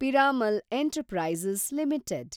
Piramal enterprises limited